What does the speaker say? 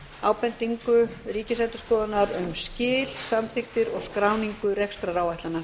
ábendingu ríkisendurskoðunar um skil samþykktir og skráningu rekstraráætlana